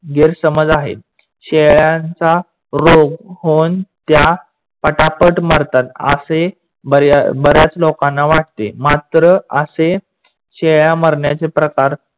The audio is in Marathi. गैरसमज आहे. शेळ्यानचा रोग होऊन त्या पटापट मरतात आशे बऱ्याच लोकांना वाटते. मात्र आसे शेळ्या मारण्याचे प्रकार